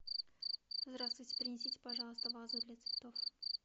здравствуйте принесите пожалуйста вазу для цветов